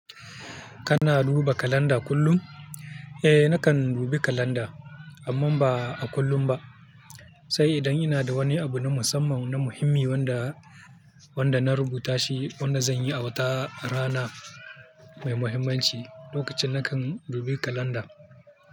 Kana duba kalanda kullum? Eh nakan dubi kalanda amma ba a kullum ba. Sai idan ina da wani abu na musamman na muhimmi wanda, wanda na rubuta shi wanda zan yi a watar rana mai muhimmanci lokacin nakan dubi kalanda.